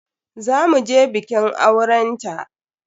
Za mu je bikin auren ta.